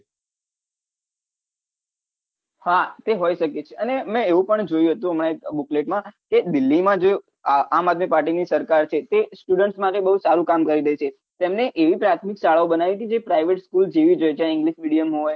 હા તે હોઈ શકે અને મેં એવું પણ જોયું હતું અમાર booklet માં કે દિલ્લી માં જે આમઆદમી party ની સરકાર છે તે student માટે બહુ સારું કામ કરી રહી છે તેમને એવી પ્રાથમિક શાળાઓ બનાવી હતી જે private school જેવી જ હોય છે english medium હોય